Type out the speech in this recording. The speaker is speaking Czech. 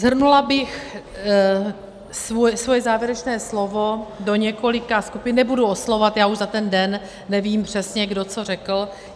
Shrnula bych svoje závěrečné slovo do několika skupin - nebudu oslovovat, já už za ten den nevím přesně, kdo co řekl.